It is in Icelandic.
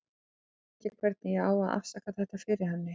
Ég veit ekki hvernig ég á að afsaka þetta fyrir henni.